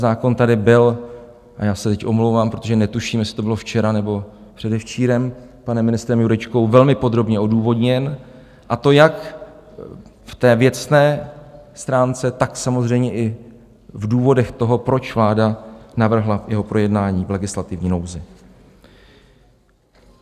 Zákon tady byl, a já se teď omlouvám, protože netuším, jestli to bylo včera, nebo předevčírem, panem ministrem Jurečkou velmi podrobně odůvodněn, a to jak v té věcné stránce, tak samozřejmě i v důvodech toho, proč vláda navrhla jeho projednání v legislativní nouzi.